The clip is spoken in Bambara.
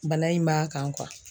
Bana in b'a kan